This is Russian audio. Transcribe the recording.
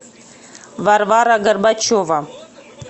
варвара горбачева